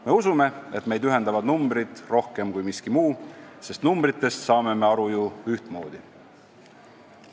Me usume, et meid ühendavad numbrid rohkem kui miski muu, sest numbritest saame me aru ju ühtmoodi.